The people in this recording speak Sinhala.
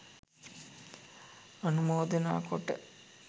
අනුමෝදනා කොට